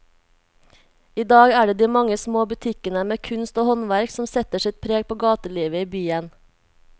I dag er det de mange små butikkene med kunst og håndverk som setter sitt preg på gatelivet i byen.